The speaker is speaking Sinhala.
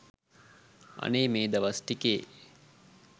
අනේ මේ දවස් ටිකේ